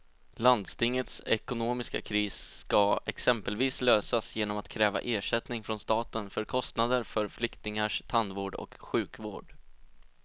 Landstingets ekonomiska kris ska exempelvis lösas genom att kräva ersättning från staten för kostnader för flyktingars tandvård och sjukvård.